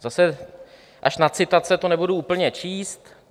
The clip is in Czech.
Zase až na citace to nebudu úplně číst.